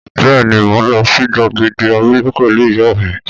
Bẹ́ẹ̀ ni, mò ń lọ sí gbàgede abúlé pẹ̀lú ìyá mi.